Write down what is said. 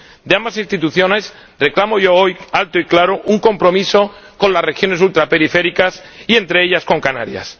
De ambas instituciones reclamo hoy, alto y claro, un compromiso con las regiones ultraperiféricas y, entre ellas, con Canarias.